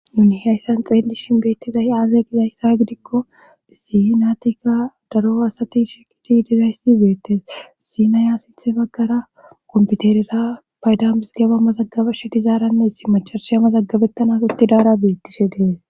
Nuni hayssan xeelishin beettizay aaze gizayssa gidikko issii naatika daro asati shekidi dizayssi beettes sinaya sinthe baggara komputerera paydamis geba mazagabeshe dizaaranne ssi macarsheya mazaggabettanas uttidaara beettishe dees.